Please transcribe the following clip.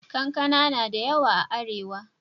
Kankana na da yawa a Arewa.